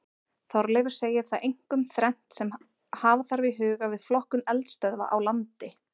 Þorleifur segir það einkum þrennt sem hafa þarf í huga við flokkun eldstöðva á landi.